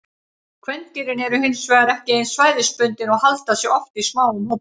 Kvendýrin eru hin vegar ekki eins svæðisbundin og halda sig oft í smáum hópum.